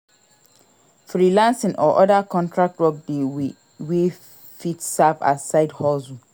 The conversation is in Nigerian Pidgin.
Freelancing or other contract work de wey fit serve as side hustle